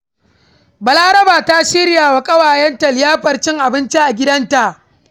Balaraba ta shirya wa ƙawayenta liyafar cin abinci a gidanta.